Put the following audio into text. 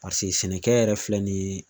Paseke sɛnɛkɛ yɛrɛ filɛ nin ye